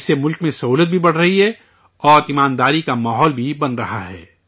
اس سے ملک میں سہولت بھی بڑھ رہی ہے اور ایمانداری کا ماحول بھی بن رہا ہے